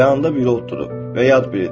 Yanında biri oturub və yad biridir.